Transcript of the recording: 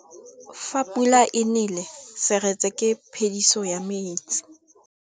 Fa pula e nelê serêtsê ke phêdisô ya metsi.